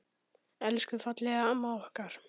Elsku fallega amma okkar.